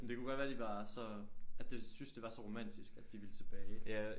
Men det kunne godt være de var så at de synes det var så romantisk at de ville tilbage